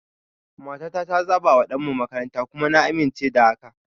Matata ta zabawa ɗanmu makaranta, kuma na amince da haka.